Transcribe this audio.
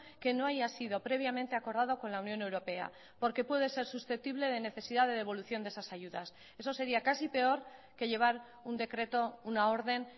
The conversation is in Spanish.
que no haya sido previamente acordado con la unión europea porque puede ser susceptible de necesidad de devolución de esas ayudas eso sería casi peor que llevar un decreto una orden